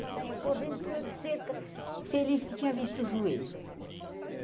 Ele saia correndo pulando cerca, feliz que tinha visto o joelho.